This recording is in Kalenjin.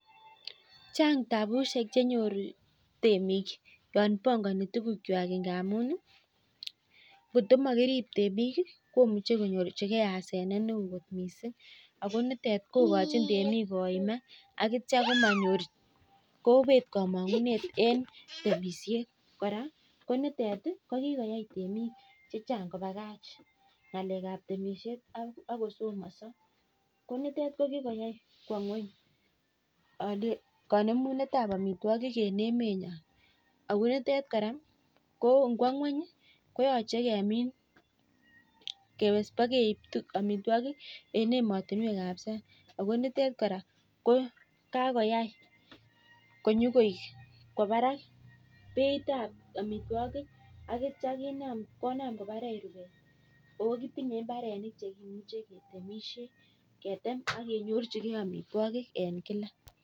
Chang tabushek chepo temik netai kikwai temik kobakach temishet ak kosomanso nekikwai kwoo ngony kaanemunet ab amitwokik eng emet nyoo